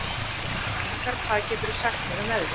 Lyngar, hvað geturðu sagt mér um veðrið?